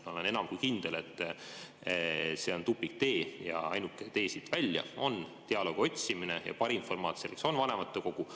Ma olen enam kui kindel, et see on tupiktee ja ainuke tee siit välja on dialoogi otsimine ja parim formaat selleks on vanematekogu.